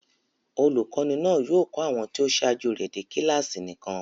Olùkọ́ní náà yóò kọ́ àwọn tí ó ṣáájú rẹ̀ dé kíláàsì nìkan.